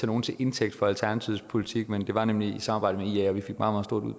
nogen til indtægt for alternativets politik men det var nemlig i et samarbejde